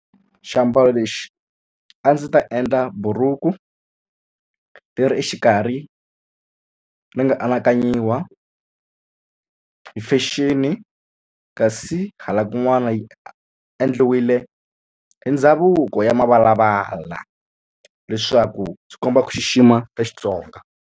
Xiambalo lexi a ndzi ta endla buruku ti ri exikarhi ni nga anakanyawa hi fashion kasi hala kun'wana yi endliwile i ndhavuko ya mavalavala leswaku swi komba ku xixima ka Xitsonga.